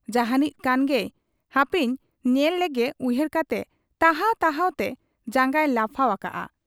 ᱡᱟᱦᱟᱸᱱᱤᱡ ᱠᱟᱱ ᱜᱮᱭ ᱦᱟᱯᱮᱧ ᱧᱮᱞ ᱞᱮᱜᱮ ᱩᱭᱦᱟᱹᱨ ᱠᱟᱛᱮ ᱛᱟᱦᱟᱣ ᱛᱟᱦᱟᱣ ᱛᱮ ᱡᱟᱝᱜᱟᱭ ᱞᱟᱯᱷᱟᱣ ᱟᱠᱟᱜ ᱟ ᱾